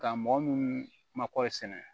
Ka mɔgɔ minnu makɔri sɛnɛ